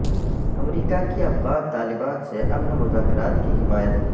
امریکا کی افغان طالبان سے امن مذاکرات کی حمایت